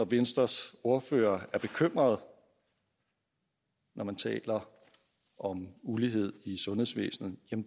venstres ordfører er bekymret når hun taler om ulighed i sundhedsvæsenet